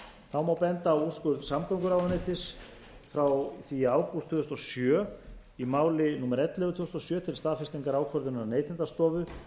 þá má einnig benda á úrskurð samgönguráðuneytis frá því í ágúst tvö þúsund og sjö í máli númer ellefu tvö þúsund og sjö til staðfestingar ákvörðunar neytendastofu